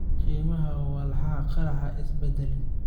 Qiimaha walxaha qarxa isma bedelin.